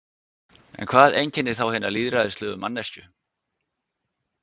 En hvað einkennir þá hina lýðræðislegu manneskju?